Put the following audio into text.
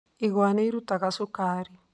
Igwa nĩ irutaga cukari.